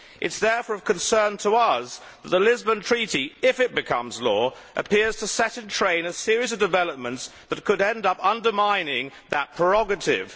It is therefore of concern to us that the Lisbon Treaty, if it becomes law, appears to set in train a series of developments that could end up undermining that prerogative.